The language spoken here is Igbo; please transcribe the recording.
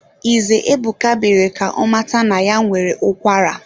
Ize Ebuka mere ka ọ mata na ya nwere ụkwara